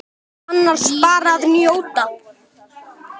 Annars bara að njóta.